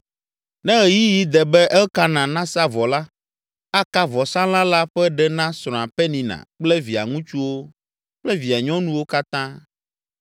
Ne ɣeyiɣi de be Elkana nasa vɔ la, aka vɔsalã la ƒe ɖe na srɔ̃a Penina kple via ŋutsuwo kple via nyɔnuwo katã.